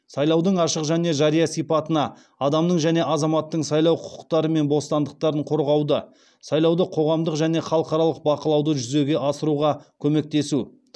сайлаудың ашық және жария сипатына адамның және азаматтың сайлау құқықтары мен бостандықтарын қорғауды сайлауды қоғамдық және халықаралық бақылауды жүзеге асыруға көмектесу